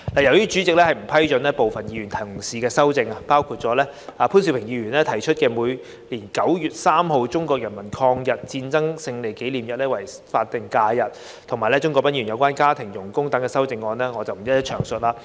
由於主席已不批准部分議員同事的擬議修正案，包括潘兆平議員提出將每年9月3日的中國人民抗日戰爭勝利紀念日列為法定假日及鍾國斌議員有關家庭傭工等的擬議修正案，我不在此逐一詳述。